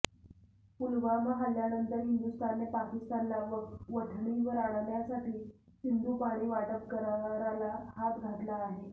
पुलवामा हल्ल्यानंतर हिंदुस्थानने पाकिस्तानला वठणीवर आणण्यासाठी सिंधू पाणी वाटप कराराला हात घातला आहे